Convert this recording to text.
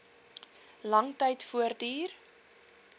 lang tyd voortduur